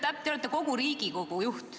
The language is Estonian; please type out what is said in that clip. Te olete kogu Riigikogu juht.